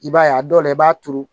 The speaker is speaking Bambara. I b'a ye a dɔw la i b'a turu